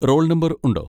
Role number ഉണ്ടോ?